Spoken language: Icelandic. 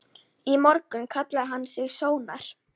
Í morgun kallaði hann sig Sónar.